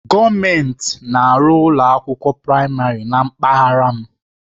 Gọọmenti na-arụ ụlọ akwụkwọ praịmarị na mpaghara m.